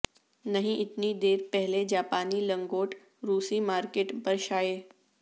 نہیں اتنی دیر پہلے جاپانی لنگوٹ روسی مارکیٹ پر شائع